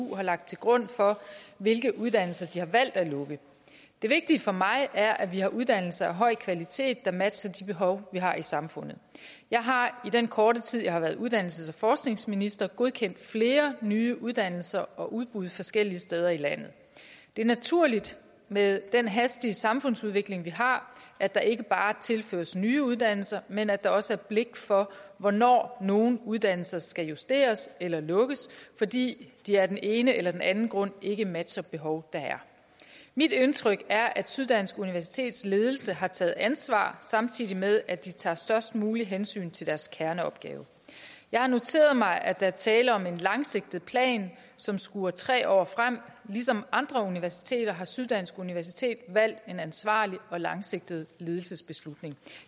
har lagt til grund for hvilke uddannelser de har valgt at lukke det vigtige for mig er at vi har uddannelser af høj kvalitet der matcher de behov vi har i samfundet jeg har i den korte tid jeg har været uddannelses og forskningsminister godkendt flere nye uddannelser og udbud forskellige steder i landet det er naturligt med den hastige samfundsudvikling vi har at der ikke bare tilføres nye uddannelser men at der også er blik for hvornår nogle uddannelser skal justeres eller lukkes fordi de af den ene eller den anden grund ikke matcher det behov der er mit indtryk er at syddansk universitets ledelse har taget ansvar samtidig med at de tager størst muligt hensyn til deres kerneopgave jeg har noteret mig at der er tale om en langsigtet plan som skuer tre år frem ligesom andre universiteter har syddansk universitet valgt en ansvarlig og langsigtet ledelsesbeslutning